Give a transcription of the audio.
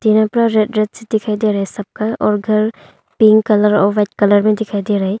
Red red दिखाई दे रहा है सबका घर पिंक और व्हाइट में दिखाई दे रहा है।